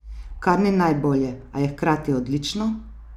Kar ni najbolje, a je hkrati odlično!